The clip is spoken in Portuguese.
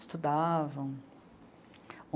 Estudavam.